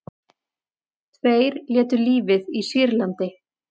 Tveir létu lífið í Sýrlandi